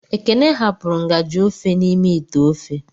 Ekene hapụrụ ngaji ofe n'ime ite ofe.